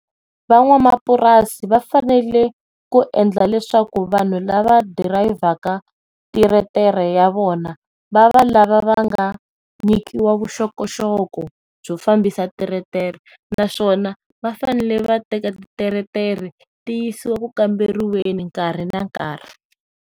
Van'wamapurasi va fanele ku endla leswaku vanhu lava dirayivhaka teretere ya vona va va lava nga nyikiwa vuxokoxoko byo fambisa teretere naswona va fanele vateka teretere tiyisiwa ku kamberiweni nkarhi na nkarhi.